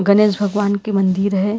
गणेश भगवान की मंदिर है।